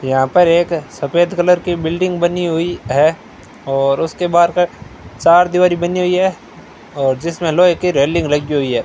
यहां पर एक सफेद कलर की बिल्डिंग बनी हुई है और उसके बाहर का चार दिवारी बनी हुई है और जिसमें लोहे की रेलिंग लगी हुई है।